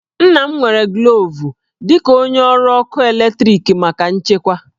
Nna m nwere glovu dị ka onye ọrụ ọkụ eletrik maka nchekwa